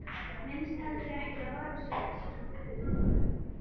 Minntist heldur ekki á varasjóðinn sem við áttum í bankanum.